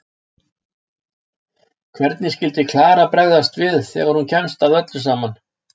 Hvernig skyldi Klara bregðast við þegar hún kemst að öllu saman?